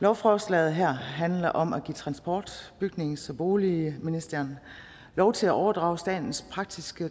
lovforslaget handler om at give transport bygnings og boligministeren lov til at overdrage statens praktiske